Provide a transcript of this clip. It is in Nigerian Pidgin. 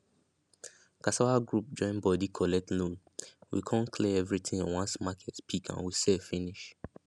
cassava group join body collect loan we con clear everything once market pick and we sell finish